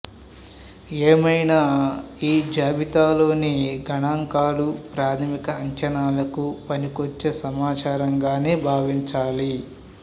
ఏమైనా ఈ జాబితాలోని గణాంకాలు ప్రాథమిక అంచనాలకు పనికొచ్చే సమాచారంగానే భావించాలి